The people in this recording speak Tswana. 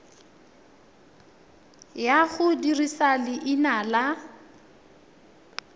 ya go dirisa leina la